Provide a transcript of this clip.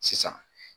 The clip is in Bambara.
Sisan